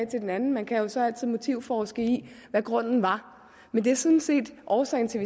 til den anden man kan jo så altid motivforske i hvad grunden var men det er sådan set årsagen til